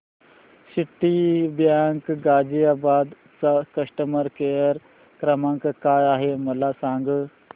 Citibank Ghaziabad चा customer care क्रमांक काय आहे मला सांग